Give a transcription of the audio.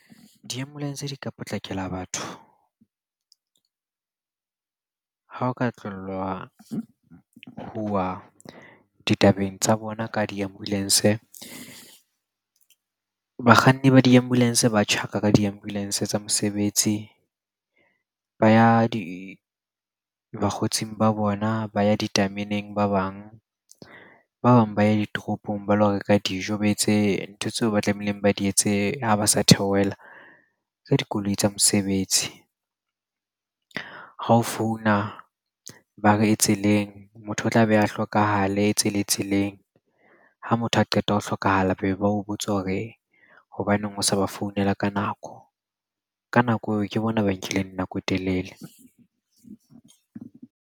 Di-ambulance di ka potlakela batho ha o ka tlellwa huwa ditabeng tsa bona ka di-ambulance. Bakganni ba di-ambulance ba tjhaka ka di-ambulance tsa mosebetsi, ba ya bakgotsing ba bona, ba ya ditameneng ba bang. Ba bang ba ya ditoropong ba lo reka dijo, ba etse ntho tseo ba tlamehileng ba di etse ha ba sa theohela ka dikoloi tsa mosebetsi. Ha o founa ba re e tseleng, motho o tla be a hlokahala tse le tseleng. Ha motho a qeta ho hlokahala be ba o botsa hore hobaneng o sa ba founela ka nako. Ka nako eo ke bona ba nkileng nako e telele.